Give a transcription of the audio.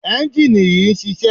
ẹ́njìnì yìí ń ṣiṣẹ́.